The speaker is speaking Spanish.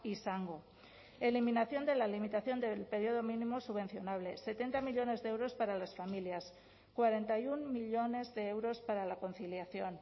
izango eliminación de la limitación del período mínimo subvencionable setenta millónes de euros para las familias cuarenta y uno millónes de euros para la conciliación